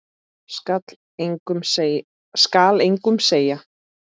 Skal engum segja.